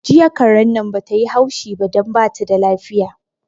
Jiya karen nan bata yi haushi ba don bata da lafiya